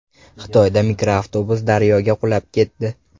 Xitoyda mikroavtobus daryoga qulab ketdi.